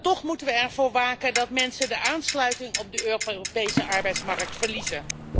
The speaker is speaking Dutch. Toch moeten we ervoor waken dat mensen de aansluiting op de Europese arbeidsmarkt verliezen.